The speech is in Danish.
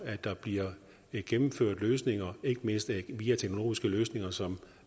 at der bliver gennemført løsninger ikke mindst via teknologiske løsninger som